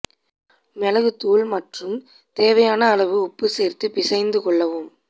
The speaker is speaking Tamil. மிளகுத் தூள் மற்றும் தேவையான அளவு உப்பு சேர்த்து பிசைந்து கொள்ளவும்